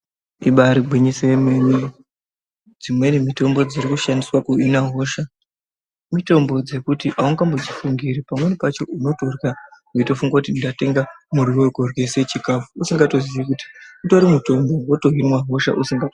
Ibaari gwinyiso remene, dzimweni mitombo dzirikushandiswa kuhina hosha. Mitombo dzekuti haungambo dzifungiri, pamweni pacho unotorya weitofunga kuti ndatenga muriwo vekuryisa chikhafu, usingatoziyi kuti, utori mutombo woto hinwa hosha.